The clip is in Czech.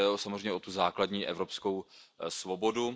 Jde samozřejmě o tu základní evropskou svobodu.